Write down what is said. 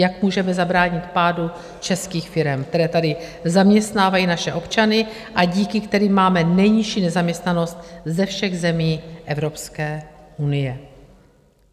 Jak můžeme zabránit pádu českých firem, které tady zaměstnávají naše občany a díky kterým máme nejnižší nezaměstnanost ze všech zemí Evropské unie?